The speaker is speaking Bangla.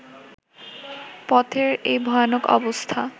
পথের এই ভয়ানক অবস্থা